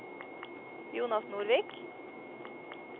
Jonas Nordvik